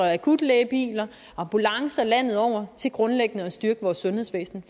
akutlægebiler og ambulancer landet over til grundlæggende at styrke vores sundhedsvæsen